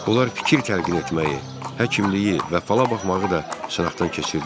Onlar fikir təlqin etməyi, həkimliyi və falabaxmağı da sınaxdan keçirdilər.